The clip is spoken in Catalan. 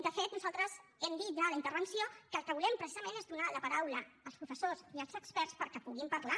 de fet nosaltres ho hem dit ja en la intervenció que el que volem precisament és donar la paraula als professors i als experts perquè puguin parlar